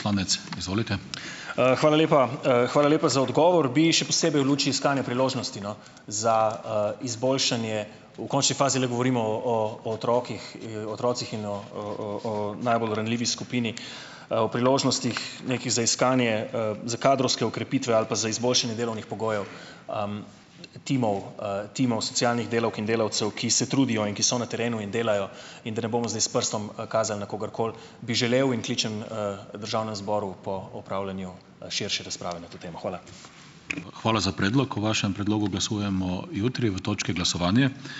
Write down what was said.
Hvala lepa. Hvala lepa za odgovor. Bi še posebej v luči iskanja priložnosti, no, za, izboljšanje, v končni fazi le govorimo o, o, o otrocih, otrocih in o, o, o, o najbolj ranljivi skupini, o priložnostih nekih za iskanje, za kadrovske okrepitve ali pa za izboljšanje delovnih pogojev, timov, timov socialnih delavk in delavcev, ki se trudijo in ki so na terenu in delajo, in da ne bomo zdaj s prstom, kazali na kogarkoli, bi želel in kličem, državnemu zboru po opravljanju, širše razprave na to temo. Hvala.